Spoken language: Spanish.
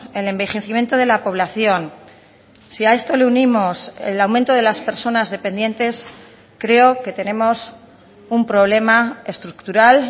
el envejecimiento de la población si a esto le unimos el aumento de las personas dependientes creo que tenemos un problema estructural